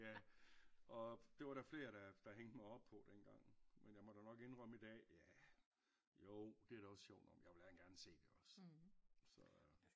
Ja og det var der flere der der hængte mig op på dengang men jeg måtte jo nok indrømme i dag ja jo det da også sjov nok men jeg vil da gerne se det også så